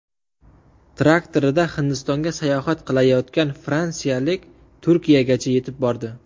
Traktorida Hindistonga sayohat qilayotgan fransiyalik Turkiyagacha yetib bordi.